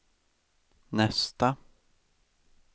nästa